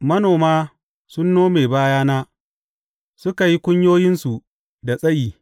Manoma sun nome bayana suka yi kunyoyinsu da tsayi.